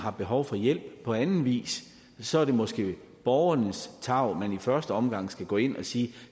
har behov for hjælp på anden vis så er det måske borgernes tarv man i første omgang skal gå ind og sige